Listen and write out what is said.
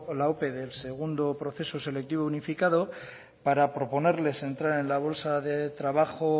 la ope del segundo proceso selectivo unificado para proponerles entrar en la bolsa de trabajo